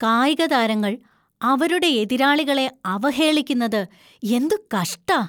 കായികതാരങ്ങൾ അവരുടെ എതിരാളികളെ അവഹേളിക്കുന്നത് എന്തു കഷ്ടാ!